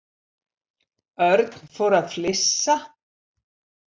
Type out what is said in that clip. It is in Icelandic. Örn fór að flissa.